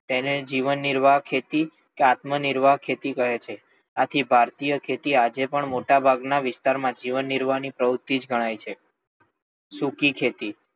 તેને જીવન નિર્વાહ ખેતી કે આત્મ નિર્વાહ ખેતી કહે છે. આથી ભારતીય ખેતી મોટા ભાગના વિસ્તાર માં જીવન નિર્વાહ ની પ્રવૃતિ જ ગણાય છે. સૂકી ખેતી,